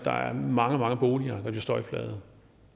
mange mange boliger bliver støjplagede